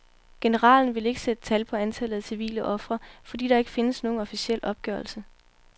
Generalen ville ikke sætte tal på antallet af civile ofre, fordi der ikke findes nogen officiel opgørelse.